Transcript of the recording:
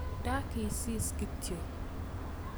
Ndakisis kityo